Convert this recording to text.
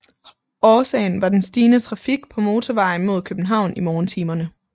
Årsagen var den stigende trafik på motorvejen mod København i morgentimerne